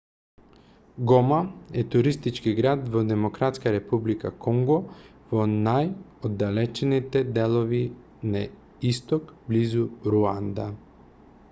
гома е туристички град во демократската република конго во најоддалечените делови на исток близу руанда